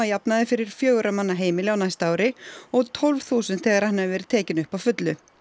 jafnaði fyrir fjögurra manna heimili á næsta ári og tólf þúsund þegar hann hefur verið tekinn upp að fullu